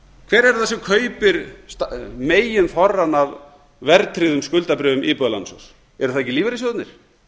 hver er það sem kaupir meginþorrann af verðtryggðum skuldabréfum íbúðalánasjóðs eru það ekki lífeyrissjóðirnir